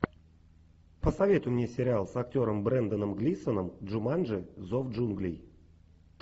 посоветуй мне сериал с актером бренданом глисоном джуманджи зов джунглей